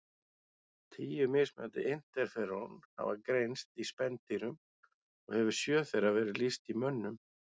Tíu mismunandi interferón hafa greinst í spendýrum og hefur sjö þeirra verið lýst í mönnum.